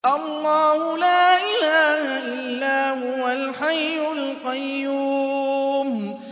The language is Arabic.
اللَّهُ لَا إِلَٰهَ إِلَّا هُوَ الْحَيُّ الْقَيُّومُ